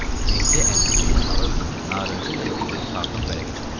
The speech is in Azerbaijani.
Mehdi əlini cibinə salıb narıncı rəngli bir karton vərəqi çıxartdı.